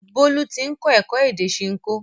Bólú ti ń kọ́ èdè Ṣinkó